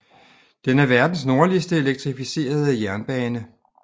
Den er verdens nordligste elektricificerede jernbane